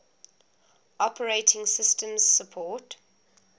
operating systems support